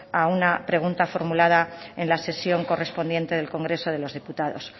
a una pregunta formulada en la sesión correspondiente del congreso de los diputados